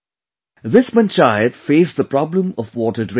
This Panchayat faced the problem of water drainage